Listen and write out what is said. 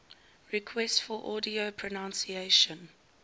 requests for audio pronunciation